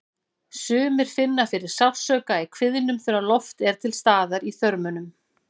Sumir finna fyrir sársauka í kviðnum þegar loft er til staðar í þörmunum.